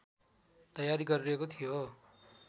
तयारी गरिरहेको थियो